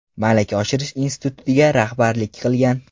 Malaka oshirish institutiga rahbarlik qilgan.